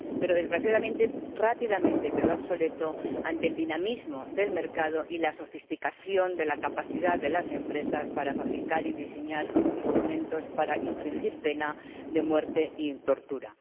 pero, desgraciadamente, este quedó rápidamente obsoleto ante el dinamismo del mercado y la sofisticación de la capacidad de las empresas para fabricar y diseñar instrumentos para infligir pena de muerte y torturas.